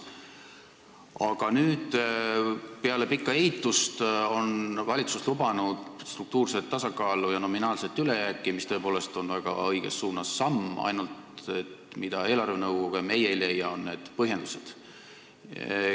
Aga nüüd, peale pikka eitust on valitsus lubanud struktuurset tasakaalu ja nominaalset ülejääki, mis on tõepoolest samm väga õiges suunas, ainult et põhjendused on eelarvenõukogule ja ka meile arusaamatud.